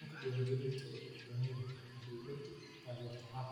Nidaamka diwaan gelinta waxa uu u baahan yahay in dawladdu taageerto.